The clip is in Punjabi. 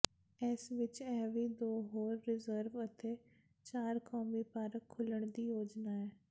ਇਸ ਵਿਚ ਇਹ ਵੀ ਦੋ ਹੋਰ ਰਿਜ਼ਰਵ ਅਤੇ ਚਾਰ ਕੌਮੀ ਪਾਰਕ ਖੋਲ੍ਹਣ ਦੀ ਯੋਜਨਾ ਹੈ